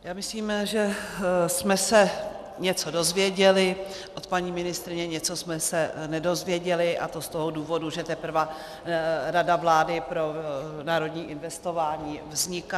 Já myslím, že jsme se něco dozvěděli od paní ministryně, něco jsme se nedozvěděli, a to z toho důvodu, že teprve Rada vlády pro národní investování vzniká.